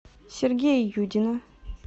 сергея юдина